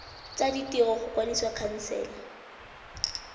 tsa ditiro go kwadisa khansele